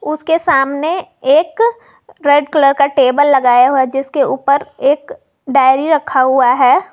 उसके सामने एक रेड कलर का टेबल लगाया हुआ जिसके ऊपर एक डायरी रखा हुआ है।